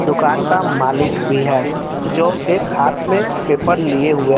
दुकान का मालिक भी है जो एक हाथ में पेपर लिए हुए--